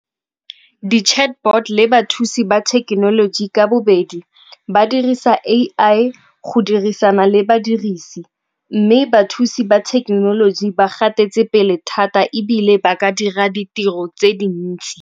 Di-chatbot le bathusi ba thekenoloji ka bobedi ba dirisa A_I go dirisana le badirisi, mme bathusi ba thekenoloji ba gatetse pele thata ebile ba ka dira ditiro tse dintsi.